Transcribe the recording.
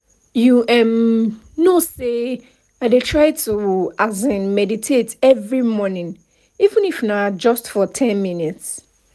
you um know say i dey try to um meditate every morning even if na just for ten minutes